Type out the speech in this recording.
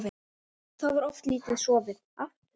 Þá var oft lítið sofið.